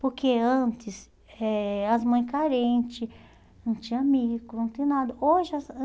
Porque antes, eh as mães carentes, não tinha micro, não tinha nada. Hoje